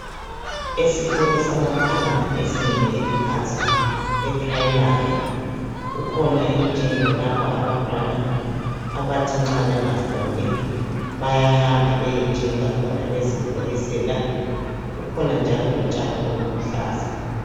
Esikolo sabantwana ezingeni eliphansi e primary kukhona imijingo lapho abantwana abathi nxa bengafundi bayahamba beyeinga khona bezikholisela kukhona njalo lotshani ubuluhlaza.